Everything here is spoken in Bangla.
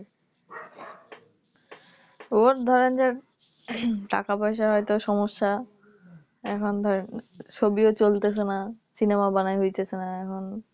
ওর ধরেন যে টাকাপয়সার হয়তো সমস্যা এখন ধরেন ছবিও চলতেছে না Cinema ও বানানো হইতেছে না এখন